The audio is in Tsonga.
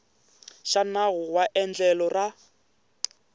xa nawu wa endlelo ra